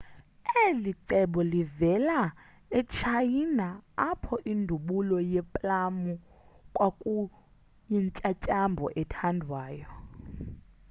eli cebo livela etshayina apho indubulo yeeplamu kwakuyintyantyambo ethandwayo